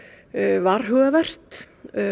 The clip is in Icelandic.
varhugavert